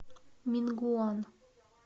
мингуан